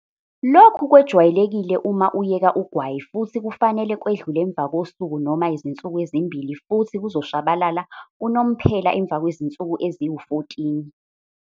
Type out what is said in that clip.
Lokhu kwejwayelekile uma uyeka ugwayi futhi kufanele kwedlule emva kosuku noma izinsuku ezimbili futhi kuzoshabalala unomphela emva kwezinsuku eziwu-14.